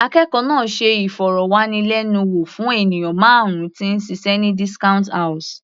Akẹ́kọ̀ọ́ náà ṣe ìfọ̀rọ̀wánilẹ́nuwò fún ènìyàn márùn -un tí ń ṣiṣẹ́ ní discount house.